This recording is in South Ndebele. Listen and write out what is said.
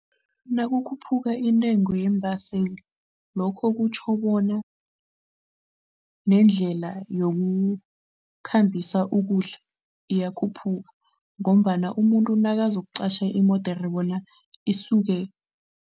Nakukhuphuka intengo yeembaseli lokho kutjho bona nendlela yokukhambisa ukudla iyakhuphuka ngombana umuntu nakazokuqatjha imodere bona isuke.